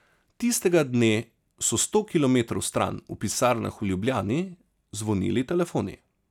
Tistega dne so sto kilometrov stran, v pisarnah v Ljubljani, zvonili telefoni.